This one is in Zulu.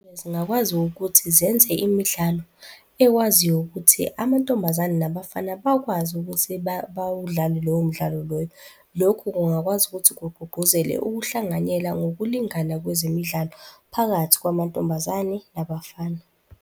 Zingakwazi ukuthi zenze imidlalo ekwaziyo ukuthi amantombazane nabafana bakwazi ukuthi bawudlale lowo mdlalo loyo. Lokho kungakwazi ukuthi kugqugquzele ukuhlanganyela ngokulingana kwezemidlalo phakathi kwamantombazane nabafana.